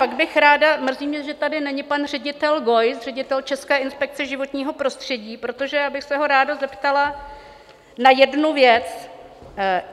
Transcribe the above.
Pak bych ráda... mrzí mě, že tady není pan ředitel Geuss, ředitel České inspekce životního prostředí, protože já bych se ho ráda zeptala na jednu věc.